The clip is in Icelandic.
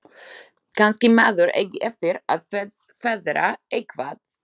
Kannski maður eigi eftir að feðra eitthvað.